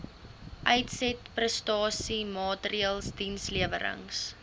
uitsetprestasie maatreëls dienslewerings